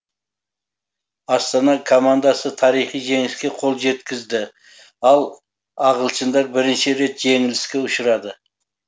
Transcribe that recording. астана командасы тарихи жеңіске қол жеткізді ал ағылшындар бірінші рет жеңіліске ұшырады